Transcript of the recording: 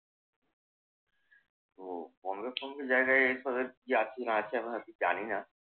তো বম্বে ফম্বে জায়গায় এসবের কি আছে না আছে আমি হয়ত জানি না।